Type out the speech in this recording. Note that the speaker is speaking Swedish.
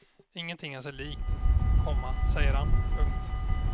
Ingenting är sig likt, komma säger han. punkt